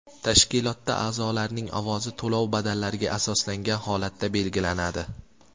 Tashkilotda a’zolarning ovozi to‘lov badallariga asoslangan holatda belgilanadi.